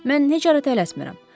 Mən necə hara tələsmirəm.